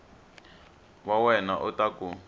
wa wena u ta ku